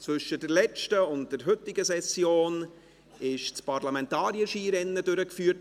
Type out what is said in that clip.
Zwischen der letzten und der heutigen Session wurde das Parlamentarier-Skirennen in Saanenmöser durchgeführt.